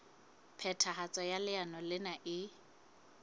phethahatso ya leano lena e